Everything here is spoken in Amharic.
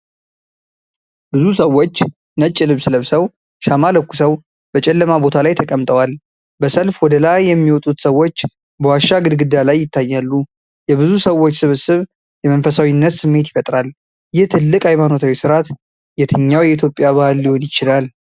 ብዙ ሰዎች ነጭ ልብስ ለብሰው ሻማ ለኩሰው በጨለማ ቦታ ተቀምጠዋል። በሰልፍ ወደ ላይ የሚወጡት ሰዎች በዋሻ ግድግዳ ላይ ይታያሉ። የብዙ ሰዎች ስብስብ የመንፈሳዊነት ስሜት ይፈጥራል። ይህ ትልቅ ሃይማኖታዊ ሥርዓት የትኛው የኢትዮጵያ በዓል ሊሆን ይችላል?